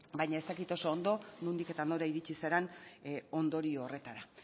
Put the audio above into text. baina ez dakit oso ondo nondik eta nora iritsi zaren ondorio horretara